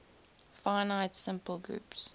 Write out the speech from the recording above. finite simple groups